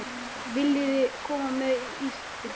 Viljiði koma með í ísbíltúr?